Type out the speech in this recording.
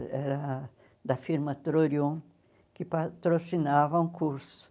Era da firma Trorion, que patrocinava um curso.